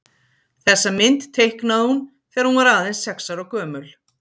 þessa mynd teiknaði hún þegar hún var aðeins sex ára gömul